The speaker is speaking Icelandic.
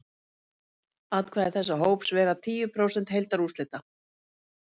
atkvæði þessa hóps vega tíu prósent heildarúrslita